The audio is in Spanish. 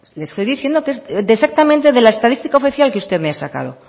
le estoy diciendo que es exactamente de la estadística oficial que usted me ha sacado